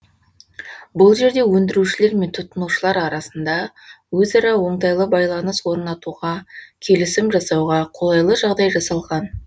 бұл жерде өндірушілер мен тұтынушылар арасында өзара оңтайлы байланыс орнатуға келісім жасауға қолайлы жағдай жасалған